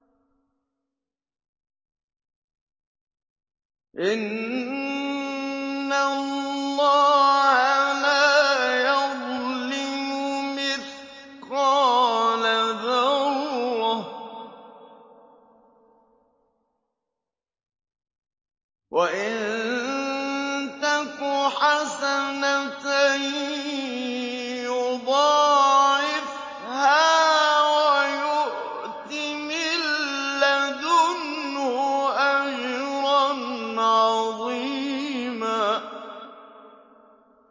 إِنَّ اللَّهَ لَا يَظْلِمُ مِثْقَالَ ذَرَّةٍ ۖ وَإِن تَكُ حَسَنَةً يُضَاعِفْهَا وَيُؤْتِ مِن لَّدُنْهُ أَجْرًا عَظِيمًا